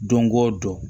Don o don